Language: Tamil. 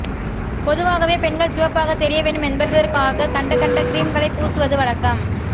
பொதுவாகவே பெண்கள் சிவப்பாக தெரிய வேண்டும் என்பதற்காக கண்ட கண்ட கிரீம்களை பூசுவது வழக்கம்